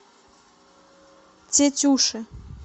тетюши